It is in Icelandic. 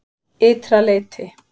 Ytra leyti